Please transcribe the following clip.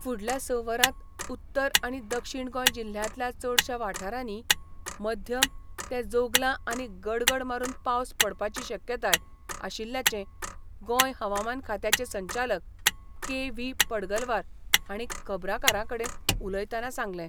फुडल्या स वरांत उत्तर आनी दक्षिण गोंय जिल्ह्यांतल्या चडशा वाठारांनी मध्यम ते जोगलां आनी गडगड मारून पावस पडपाची शक्यताय आशिल्ल्याचें गोंय हवामान खात्याचे संचालक के व्ही पडगलवार हांणी खबराकारांकडेन उलयतनां सांगलें.